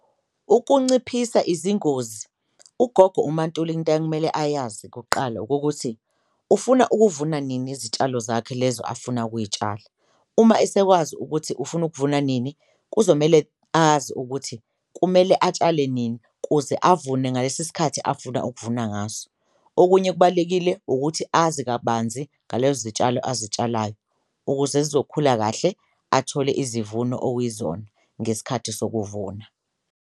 Ukunciphisa izingozi ugogo uMaNtuli into akumele ayazi kuqala okokuthi ufuna ukuvuna nini izitshalo zakhe lezo afuna ukuyitshala, uma esekwazi ukuthi ufuna ukuvuna nini kuzomele azi ukuthi kumele atshale nini kuze afune ngalesi sikhathi afuna ukuvuna ngaso. Okunye kubalulekile ukuthi azi kabanzi ngalezo zitshalo azitshalayo ukuze zizokhula kahle athole izivuno okuyizona ngesikhathi sokuvuna.